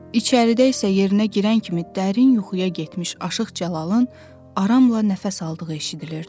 İçəridə isə yerinə girən kimi dərin yuxuya getmiş Aşıq Cəlalın aramla nəfəs aldığı eşidilirdi.